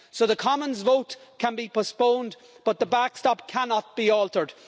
So the Commons vote can be postponed, but the backstop cannot be altered.